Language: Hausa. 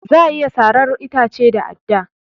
Za a iya sarar itace da adda